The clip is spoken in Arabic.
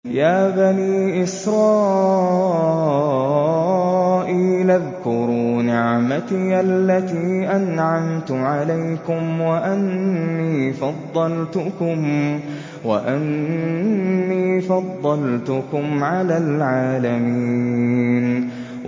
يَا بَنِي إِسْرَائِيلَ اذْكُرُوا نِعْمَتِيَ الَّتِي أَنْعَمْتُ عَلَيْكُمْ وَأَنِّي فَضَّلْتُكُمْ عَلَى الْعَالَمِينَ